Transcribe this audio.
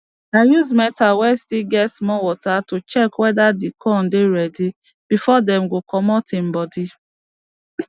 i use meter way still get small water to check whether the corn dey ready before dem go commot em body